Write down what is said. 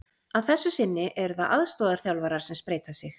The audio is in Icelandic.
Að þessu sinni eru það aðstoðarþjálfarar sem spreyta sig.